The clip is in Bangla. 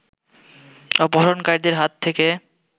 অপহরণকারীদের হাত থেকে